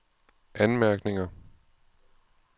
anmærkninger